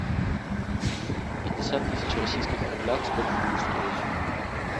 пятьдесят тысяч в российских рублях сколько будет стоить